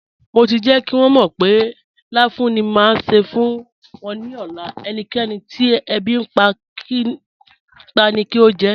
Mo ti jẹ́ kí wọn mọ̀ pé láfùún ni má ṣé fún wọn ní ọ̀lá, ẹ̀níkẹ̀nì tí èbí npa ni kí o jẹ́.